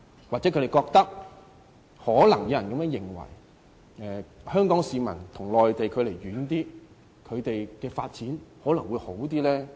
也許他們覺得香港市民與內地的距離越遠，他們的發展便會越好。